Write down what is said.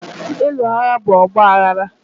Ịlụ agha bụ ọgbaghara